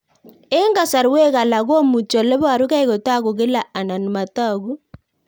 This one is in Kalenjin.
Eng'kasarwek alak komuchi ole parukei kotag'u kila anan matag'u